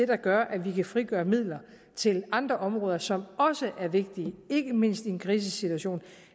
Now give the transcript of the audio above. der gør at vi kan frigøre midler til andre områder som også er vigtige ikke mindst i en krisesituation